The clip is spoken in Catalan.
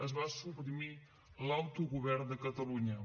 es va suprimir l’autogovern de catalunya